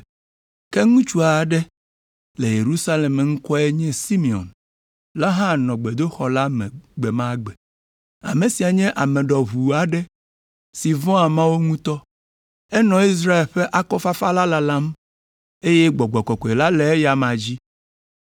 Ke ŋutsu aɖe le Yerusalem si ŋkɔe nye Simeon la hã nɔ gbedoxɔ la me gbe ma gbe. Ame sia nye ame ɖɔʋu aɖe si vɔ̃a Mawu ŋutɔ, enɔ Israel ƒe akɔfafa lalam eye Gbɔgbɔ Kɔkɔe le eya amea dzi.